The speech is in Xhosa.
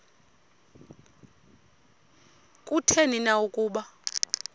kutheni na ukuba